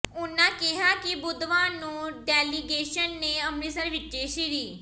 ਉਨ੍ਹਾਂ ਕਿਹਾ ਕਿ ਬੁੱਧਵਾਰ ਨੂੰ ਡੈਲੀਗੇਸ਼ਨ ਨੇ ਅਮ੍ਰਿਤਸਰ ਵਿੱਚ ਸ੍ਰੀ